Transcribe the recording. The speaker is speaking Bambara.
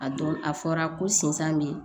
A don a fɔra ko sinsan be